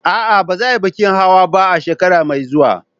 A'a, ba za a yi bikin hawa ba a shekara mai zuwa.